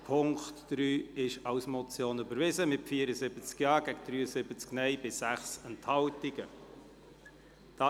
Sie haben den Punkt 3 überwiesen, mit 74 Ja- zu 73 Nein-Stimmen bei 6 Enthaltungen überwiesen.